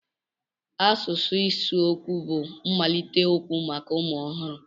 Asụsụ ịsụ okwu bụ mmalite okwu maka ụmụ ọhụrụ.